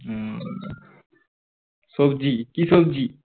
হম সবজি কি সবজি?